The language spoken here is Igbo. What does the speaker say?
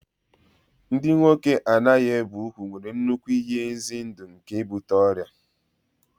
Ndị nwoke a na-ebighị úgwù nwere nnukwu ihe ize ndụ nke ibute ọrịa